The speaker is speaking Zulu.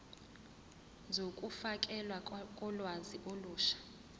zokufakelwa kolwazi olusha